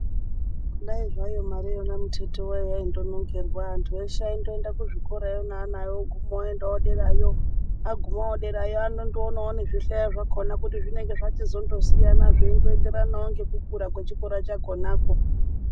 Dai zvayo mareyona muteti wayo yaindonongerwa antu eshe aindoenda kuzvikorayo neana awo oguma oendawo derayo agumawo derayo anondoonawo ngezvihlayo zvakona kuti zvinonga zvachindozosiyana zveindoenderana nekukura kwechikora chakonako.